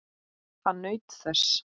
Hann naut þess.